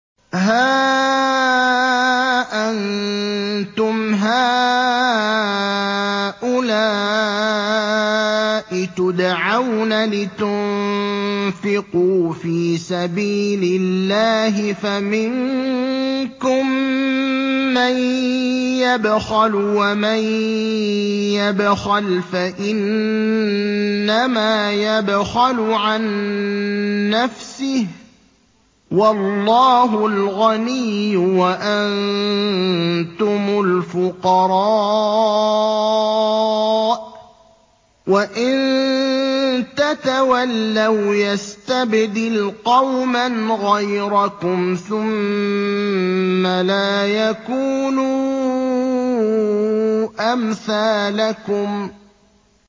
هَا أَنتُمْ هَٰؤُلَاءِ تُدْعَوْنَ لِتُنفِقُوا فِي سَبِيلِ اللَّهِ فَمِنكُم مَّن يَبْخَلُ ۖ وَمَن يَبْخَلْ فَإِنَّمَا يَبْخَلُ عَن نَّفْسِهِ ۚ وَاللَّهُ الْغَنِيُّ وَأَنتُمُ الْفُقَرَاءُ ۚ وَإِن تَتَوَلَّوْا يَسْتَبْدِلْ قَوْمًا غَيْرَكُمْ ثُمَّ لَا يَكُونُوا أَمْثَالَكُم